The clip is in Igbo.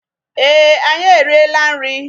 Ee, anyị eriela nri.